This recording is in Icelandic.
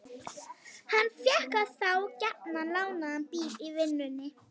Hann fékk þá gjarnan lánaðan bíl í vinnunni.